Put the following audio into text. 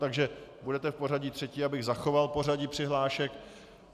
Takže budete v pořadí třetí, abych zachoval pořadí přihlášek.